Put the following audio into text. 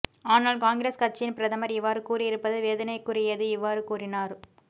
ஆனால் காங்கிரஸ் கட்சியின் பிரதமர் இவ்வாறு கூறியிருப்பது வேதனைக்குரியது இவ்வாறு கூறினார்